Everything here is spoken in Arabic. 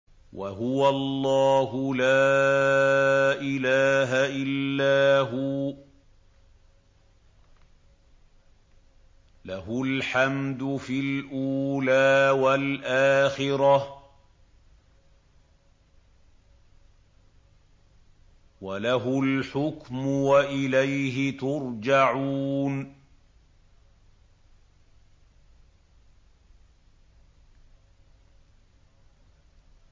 وَهُوَ اللَّهُ لَا إِلَٰهَ إِلَّا هُوَ ۖ لَهُ الْحَمْدُ فِي الْأُولَىٰ وَالْآخِرَةِ ۖ وَلَهُ الْحُكْمُ وَإِلَيْهِ تُرْجَعُونَ